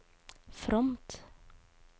fromt